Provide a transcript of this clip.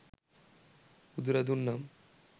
බුදුරදුන් නම්